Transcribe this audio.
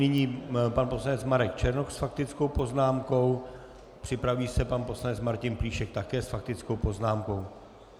Nyní pan poslanec Marek Černoch s faktickou poznámkou, připraví se pan poslanec Martin Plíšek také s faktickou poznámkou.